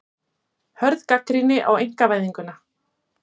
Hörð gagnrýni á einkavæðinguna